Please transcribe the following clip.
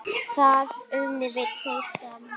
Þar unnum við tveir saman.